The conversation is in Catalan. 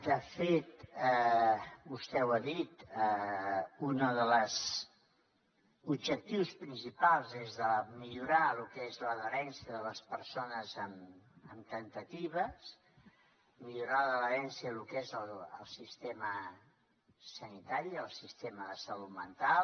de fet vostè ho ha dit un dels objectius principals és de millorar el que és l’adherència de les persones amb temptatives millorar l’adherència de lo que és el sistema sanitari el sistema de salut mental